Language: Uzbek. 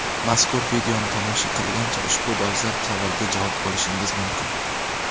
Mazkur videoni tomosha qilgancha ushbu dolzarb savolga javob olishingiz mumkin.